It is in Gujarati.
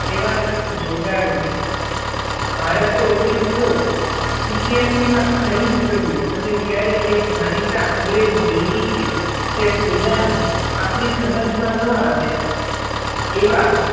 સેવામાં જોડાણું ભારતે ઓગણીસો સિત્યાસી માં ખરીદ કર્યું અને ત્યારે એક જાણીતા અંગ્રેજ દૈનિકે તે સોદા ને આપણી સમજ માં ન આવે એવા